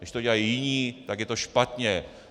Když to dělají jiní, tak je to špatně.